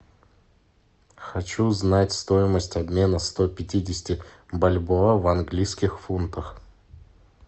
хочу знать стоимость обмена сто пятидесяти бальбоа в английских фунтах